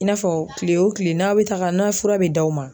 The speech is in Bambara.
I n'a fɔ kile o kile n'a bɛ taga n'a ye fura bɛ d'aw ma